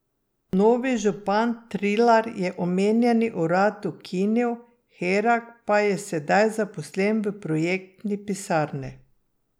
Novi župan Trilar je omenjeni urad ukinil, Herak pa je sedaj zaposlen v projektni pisarni.